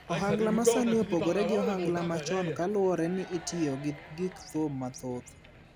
Ohangla masani opogore gi ohangla machon kaluwore ni ityo gi gik thum mathoth.